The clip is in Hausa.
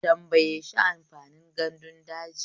Tambaye shi amfanin gandun daji.